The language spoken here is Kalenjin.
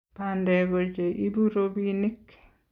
bandek ko che ibu robinik